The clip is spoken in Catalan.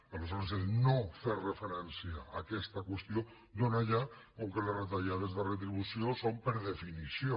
aleshores no fer referència a aquesta qüestió dóna ja com que les retallades de retribució ho són per definició